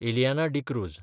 Ileana D'Cruz